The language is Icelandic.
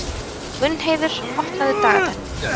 Gunnheiður, opnaðu dagatalið mitt.